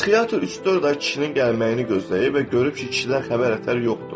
Psixiatr üç-dörd ay kişinin gəlməyini gözləyib və görüb ki, kişidən xəbər-ətər yoxdur.